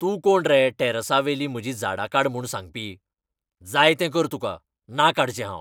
तूं कोण रे टॅर्रासावेलीं म्हाजीं झाडां काड म्हूण सांगपी ? जाय तें कर तुका, ना काडचें हांव.